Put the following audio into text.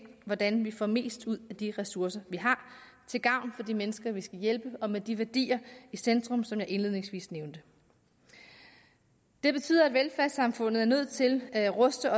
hvordan vi får mest ud af de ressourcer vi har til gavn for de mennesker vi skal hjælpe og med de værdier i centrum som jeg indledningsvis nævnte det betyder at velfærdssamfundet er nødt til at ruste